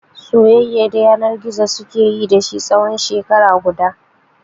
Soyayyar yana gizo suke yi da shi tsawon shekara guda.